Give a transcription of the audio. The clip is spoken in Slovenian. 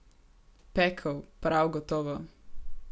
Pekel, prav gotovo.